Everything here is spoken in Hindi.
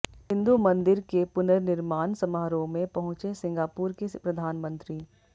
हिन्दू मंदिर के पुननिर्माण समारोह में पहुंचे सिंगापुर के प्रधानमंत्री